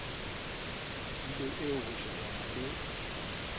tulo eo ho shebana le